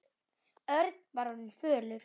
Örn var orðinn fölur.